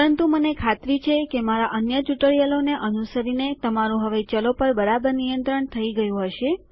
પરંતુ મને ખાતરી છે કે મારા અન્ય ટ્યુટોરિયલોને અનુસરીને તમારું હવે ચલો પર બરાબર નિયંત્રણ થઇ ગયું હશે